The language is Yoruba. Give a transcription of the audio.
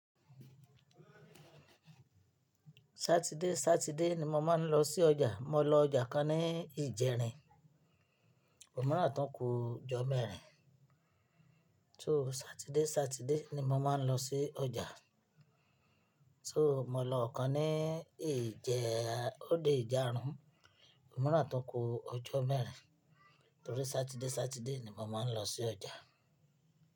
Saturday, Saturday ni mo máa ń lọ sí ọjà. Mo lọ ọjà kan ní Ìjẹ̀rìn. Ò mirran náà tún kú ọjọ́ mẹ́rin. So Saturday, Saturday ni mo máa ń lọ sí ọjà. So mo lọ ọ̀kan ní Ìjẹ̀--. Ó di ìjáarun Omiran tún kú ọjọ́ mẹ́rin torí Saturday, Saturday ni mo máa ń lọ sí ọjà.